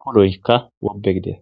puloykka wobe gide.